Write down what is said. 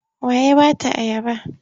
Wa ya ba ta ayaba?